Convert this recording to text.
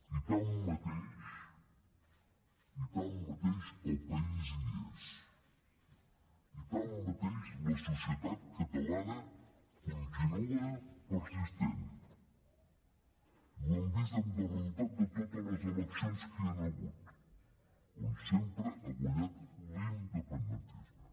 i tanmateix i tanmateix el país hi és i tanmateix la societat catalana continua persistent i ho hem vist amb el resultat de totes les eleccions que hi han hagut on sempre ha guanyat l’independentisme